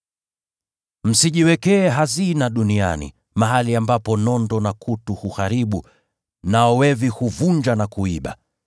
“Msijiwekee hazina duniani, mahali ambapo nondo na kutu huharibu, nao wevi huvunja na kuiba.